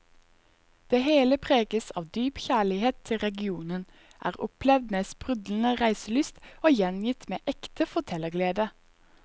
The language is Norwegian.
Det hele preges av dyp kjærlighet til regionen, er opplevd med sprudlende reiselyst og gjengitt med ekte fortellerglede.